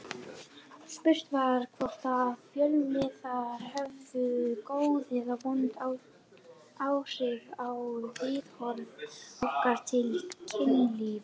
Spurt var hvort að fjölmiðlar hefðu góð eða vond áhrif á viðhorf okkar til kynlífs.